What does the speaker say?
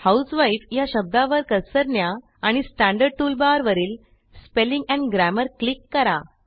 आता husewifeया शब्दावर कर्सर नेऊन ठेवा आणि स्टँडर्ड टूल barवर वरील स्पेलिंग एंड Grammarच्या आयकॉनवर क्लिक करा